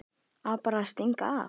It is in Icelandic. Á bara að stinga af.